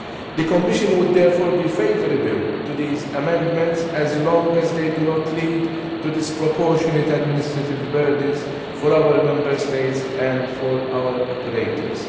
The Commission would therefore be favourable to these amendments as long as they do not lead to disproportionate administrative burdens for our Member States and for our operators.